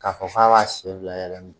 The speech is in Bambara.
K'a fɔ k'a b'a sen bila yɛlɛma